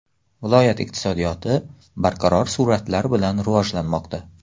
Viloyat iqtisodiyoti barqaror sur’atlar bilan rivojlanmoqda.